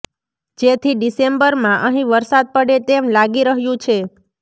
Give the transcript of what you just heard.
જેથી ડિસેમ્બરમાં અહીં વરસાદ પડે તેમ લાગી રહ્યું છે